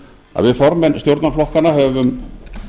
að við formenn stjórnarflokkanna höfum